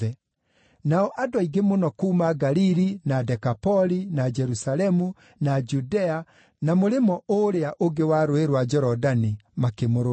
Nao andũ aingĩ mũno kuuma Galili, na Dekapoli, na Jerusalemu, na Judea, na mũrĩmo ũũrĩa ũngĩ wa Rũũĩ rwa Jorodani makĩmũrũmĩrĩra.